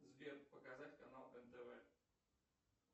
сбер показать канал нтв